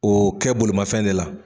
O kɛ bolimafɛn de la.